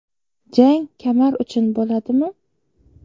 Jang kamar uchun bo‘ladimi?